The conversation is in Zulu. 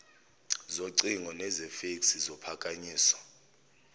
zocingo nezefeksi zophakanyiswayo